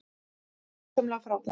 Þetta var gjörsamlega frábært.